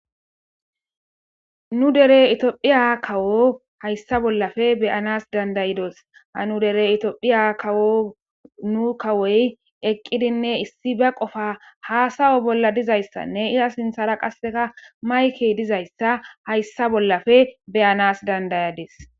Nu dere itiophiya kawo hayssa bollafe beyanas dandayidos ha nu dere itiophiya kawo nu kawoy eqqidinne issi ba qofa haasawo bolla dizayssanne iza sinthara qasseka mayke dizayssa hayssa bollafe beyanas dandayades.